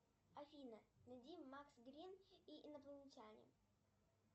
афина найди макс грин и инопланетяне